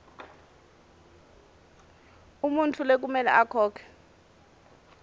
umuntfu lekumele akhokhe